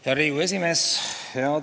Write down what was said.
Hea Riigikogu aseesimees!